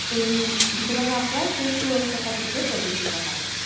এই বিথঙ্গল আখড়া সেই ষোড়শ শতাব্দী তে প্রতিষ্ঠিত হয়।